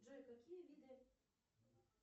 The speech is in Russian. джой какие виды